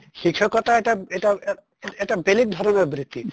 শিক্ষাকতা এটা এটা ) এটা বেলেগ ধৰণৰ বৃত্তি